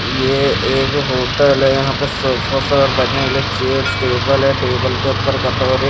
ये एक होटल है यहां पे सोफा सा बैठने के लिए चेयर्स टेबल है टेबल के ऊपर कटोरे--